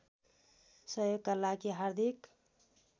सहयोगका लागि हार्दिक